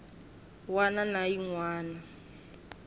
wana na yin wana yo